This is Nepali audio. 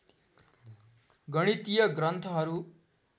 गणितीय ग्रन्थहरु